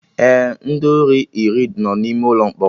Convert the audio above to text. Ee, ndị ori iri no n'ime ụlọ mkpọrọ